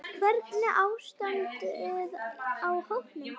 Hvernig er ástandið á hópnum?